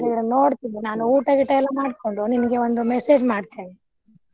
ಹಾಗಾದ್ರೆ ನೋಡ್ತೀನಿ ನಾನು ಊಟ ಗೀಟ ಎಲ್ಲಾ ಮಾಡ್ಕೊಂಡು ನಿನಗೆ ಒಂದು message ಮಾಡ್ತೇನೆ.